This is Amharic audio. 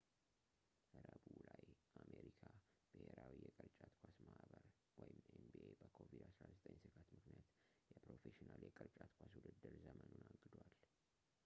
ረቡዕ ላይ፣ የአሜሪካ ብሄራዊ የቅርጫት ኳስ ማህበር ኤን.ቢ.ኤ በኮቪድ-19 ስጋት ምክንያት የፕሮፌሽናል የቅርጫት ኳስ ውድድር ዘመኑን አግዷል